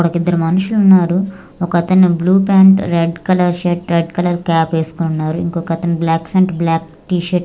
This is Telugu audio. అక్కడ ఒక ఇద్దరు మనుషులు ఉన్నారు ఒకతను blue pant red colour shirt red colour cap ఎస్కొనున్నారు ఇంకొక అతను బ్లాక్ ప్యాంట్ బ్లాక్ టీ-షర్ట్ --